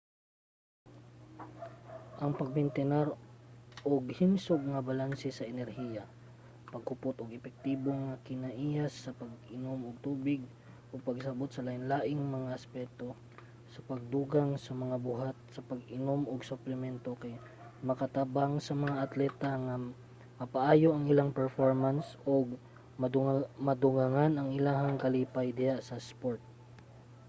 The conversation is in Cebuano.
ang pagmentinar og himsog nga balanse sa enerhiya paghupot og epektibong mga kinaiya sa pag-inom og tubig ug pagsabot sa lainlaing mga aspeto sa pagdugang sa mga buhat sa pag-inom og suplemento kay makatabang sa mga atleta nga mapaayo ang ilang performance ug madugangan ang ilang kalipay diha sa isport